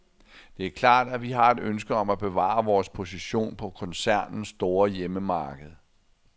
Det er klart, at vi har et ønske om at bevare vores position på koncernens store hjemmemarked.